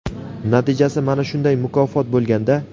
natijasi mana shunday mukofot bo‘lganda.